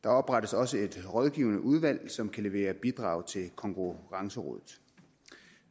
der oprettes også et rådgivende udvalg som kan levere bidrag til konkurrencerådet